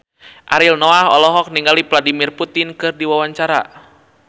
Ariel Noah olohok ningali Vladimir Putin keur diwawancara